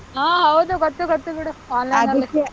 ಹಾ ಹೌದು ಗೊತ್ತು ಗೊತ್ತು ಬಿಡು online .